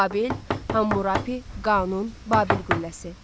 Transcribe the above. Babil, Hammurapi, Qanun, Babil qülləsi.